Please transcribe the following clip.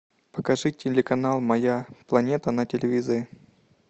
покажи телеканал моя планета на телевизоре